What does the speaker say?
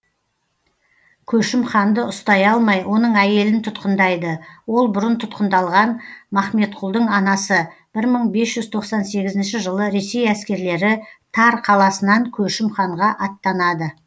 көшім ханды ұстай алмай оның әйелін тұтқындайды ол бұрын тұтқындалған махметқұлдың анасы бір мың бес жүз тоқсан сегізінші жылы ресей әскерлері тар қаласынан көшім ханға аттанады